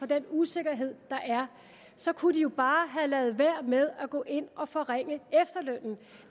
den usikkerhed der er så kunne de jo bare lade være med at gå ind og forringe efterlønnen